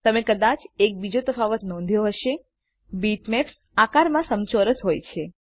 તમે કદાચ એક બીજો તફાવત નોંધ્યો હશે બીટમેપ્સ આકારમાં સમચોરસ હોય છે